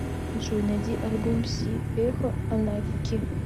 джой найди альбом си эхо анагки